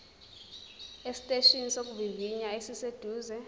esiteshini sokuvivinya esiseduze